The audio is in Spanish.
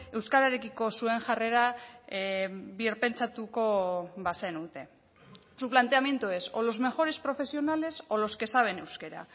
euskararekiko zuen jarrera birpentsatuko bazenute su planteamiento es o los mejores profesionales o los que saben euskera